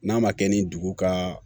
N'a ma kɛ ni dugu ka